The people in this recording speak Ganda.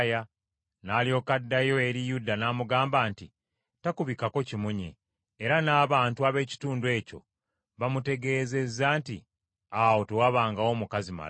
N’alyoka addayo eri Yuda n’amugamba nti takubikako kimunye; era n’abantu ab’ekitundu ekyo bamutegeezeza nti, “Awo tewabangawo mukazi malaaya .”